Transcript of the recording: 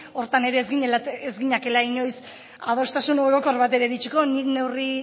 horretan ere ez ginakela inoiz adostasun orokor batera iritsiko nik neurri